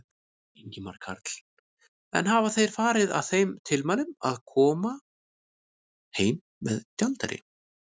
Ingimar Karl: En hafa þeir farið að þeim tilmælum að, að, koma heim með gjaldeyri?